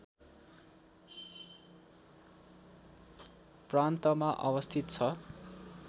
प्रान्तमा अवस्थित छ